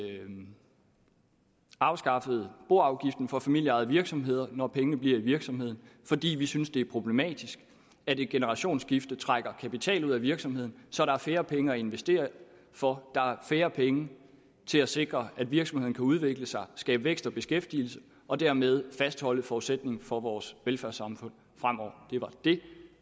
afskaffet boafgiften for familieejede virksomheder når pengene bliver i virksomheden fordi vi synes det er problematisk at et generationsskifte trækker kapital ud af virksomheden så der er færre penge at investere for og færre penge til at sikre at virksomheden kan udvikle sig skabe vækst og beskæftigelse og dermed fastholde forudsætningen for vores velfærdssamfund fremover det